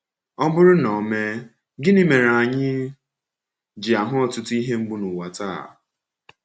Ọ bụrụ na o mee, gịnị mere anyị ji ahụ ọtụtụ ihe mgbu n’ụwa taa?